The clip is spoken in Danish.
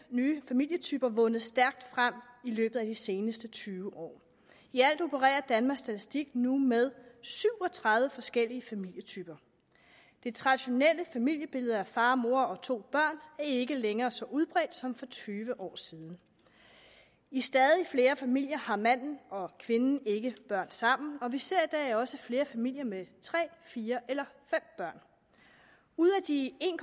nye familietyper vundet stærkt frem i løbet af de seneste tyve år i alt opererer danmarks statistik nu med syv og tredive forskellige familietyper det traditionelle familiebillede af far mor og to børn er ikke længere så udbredt som for tyve år siden i stadig flere familier har manden og kvinden ikke børn sammen og vi ser i dag også flere familier med tre fire eller fem børn ud af de en